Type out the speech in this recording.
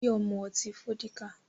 Báyọ̀ ń mú ọtí Fọ́díkà